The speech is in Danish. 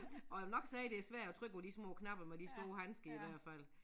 Og nok sige det svært at trykke på de små knapper med de store handsker i hvert fald